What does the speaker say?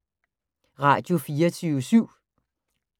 Radio24syv